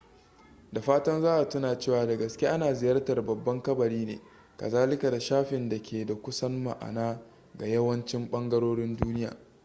da fatan za a tuna cewa da gaske ana ziyartar babban kabari ne kazalika da shafin da ke da kusan ma'ana ga yawancin ɓangarorin duniya